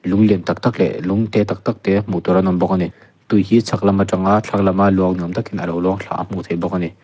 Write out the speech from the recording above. lung lian tak tak leh lung te tak tak te hmuh tur an awm bawk ani tui hi chhak lam atang a thlang lam a lung ni awm alo luang thla a hmuh theih bawk ani.